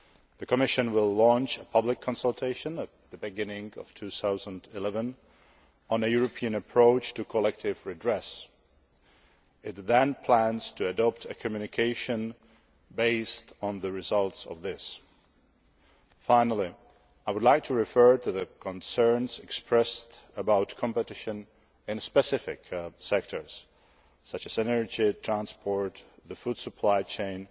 The Commission will launch a public consultation at the beginning of 2011 on a European approach to collective redress. It then plans to adopt a communication based on the results of this. Finally, I would like to refer to the concerns expressed about competition in specific sectors, such as energy, transport, the food supply chain